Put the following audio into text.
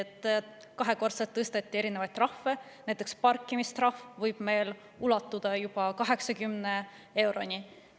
Trahvid tõsteti kahekordseks, näiteks parkimistrahv võib ulatuda juba 80 euroni.